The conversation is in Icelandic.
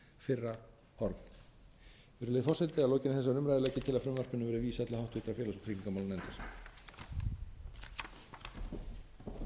fyrra horf virðulegi forseti að lokinni þessari umræðu legg ég til að frumvarpinu verði vísað til háttvirtrar félags og tryggingamálanefndar